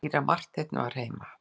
Síra Marteinn var heima.